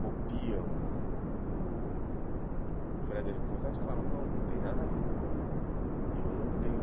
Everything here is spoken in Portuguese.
copiam o o Frederic Forsyth e falam, não, não tem nada a ver. Eu não tenho